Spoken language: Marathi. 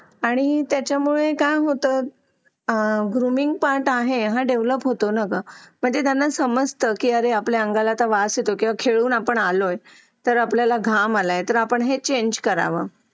लेट होतं सर्दी खोकला हा एक वाढलं आहे. एका मुलाला क्लास पूर्ण क्लास त्याच्यामध्ये वाहून निघत निघत असतो असं म्हणायला हरकत नाही. हो डेंग्यू, मलेरिया यासारखे आजार पण ना म्हणजे लसीकरण आहे. पूर्ण केले तर मला नाही वाटत आहे रोप असू शकतेपुडी लसीकरणाबाबत थोडं पालकांनी लक्ष दिलं पाहिजे की आपला मुलगा या वयात आलेला आहे. आता त्याच्या कोणत्या लसी राहिलेले आहेत का?